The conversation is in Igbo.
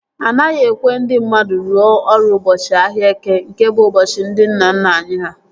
Anaghị ekwe ndị mmadụ rụọ ọrụ ụbọchị ahịa Eke nke bụ ụbọchị ndị nna nna anyị ha